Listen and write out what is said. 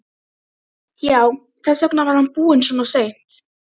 Já, þess vegna var hann búinn svona seint.